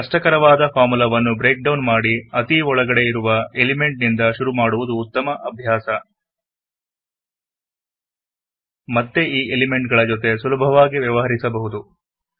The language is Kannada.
ಕಷ್ಟಕರವಾದ ಫಾರ್ಮುಲವನ್ನು ಬ್ರೇಕ್ ಡೌನ್ ಮಾಡಿ ಅತೀ ಒಳಗಡೆ ಇರುವ ಎಲಿಮೆಂಟ್ ನಿಂದ ಶುರು ಮಾಡುವುದು ಉತ್ತಮ ಅಭ್ಯಾಸ ಮತ್ತೆ ಈ ಎಲಿಮೆಂಟ್ ಗಳ ಜೊತೆ ಸುಲಭವಾಗಿ ವ್ಯವಹರಿಸಬಹುದು